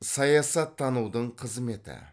саясаттанудың қызметі